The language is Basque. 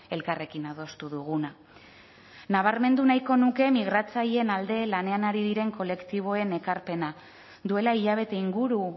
elkarrekin adostu duguna nabarmendu nahiko nuke migratzaileen alde lanean ari diren kolektiboen ekarpena duela hilabete inguru